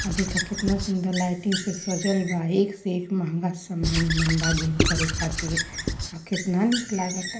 अ देखा त कितना सुंदर लाइटिंग से सजल बा। एक से एक महंगा समान येमेन बा। जिम करे खातीर। केतना निक लागता।